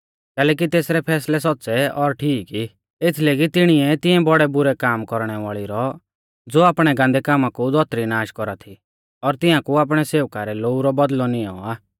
कैलैकि तेसरै फैसलै सौच़्च़ै और ठीक ई एथीलै कि तिणिऐ तिऐं बौड़ै बुरै काम कौरणै वाल़ी रौ ज़ो आपणै गान्दै कामा कु धौतरी नाश कौरा थी फैसलौ कियौ और तियांकु आपणै सेवका रै लोऊ रौ बौदल़ौ निऔं आ